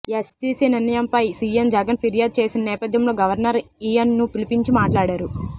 SEC నిర్ణయంపై CM Jagan ఫిర్యాదు చేసిన నేపథ్యంలో గవర్నర్ ఆయన్ను పిలిపించి మాట్లాడారు